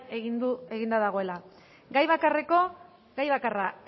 eginda dagoela gai bakarra